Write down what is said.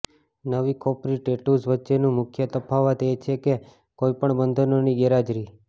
નવી ખોપરી ટેટૂઝ વચ્ચેનું મુખ્ય તફાવત એ છે કે કોઈપણ બંધનોની ગેરહાજરી